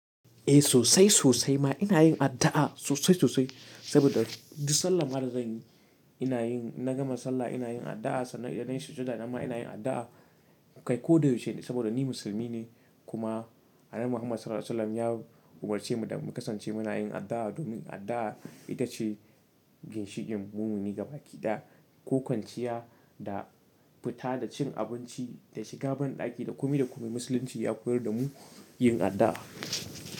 Eh sosai sosai ma ina yin addu'a sosai sosai saboda dusalam addu'ar gani ina yin na gama sallah ina yin addu'a sannan idan nayi sujudana ma ina yin addu'a kai ko da yaushe saboda ni musulmi ne kuma Annabi Muhammad Sallallahu Alaihi Wasallam ya umarce mu da mu kasance mana yin addu'a domin addu'a ita ce ginshikin mumini gaba ɗaya, ko kwanciya da fita da cin abinci da shiga banɗaki, duk me duk me Musulunci ya koyar da mu yin addu'a.